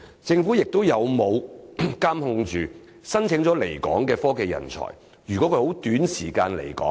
政府有否監控申請來港的科技人才的情況？